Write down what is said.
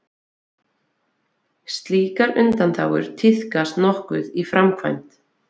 Slíkar undanþágur tíðkast nokkuð í framkvæmd.